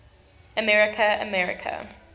america america